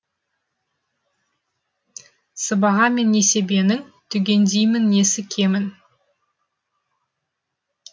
сыбаға мен несібенің түгендеймін несі кемін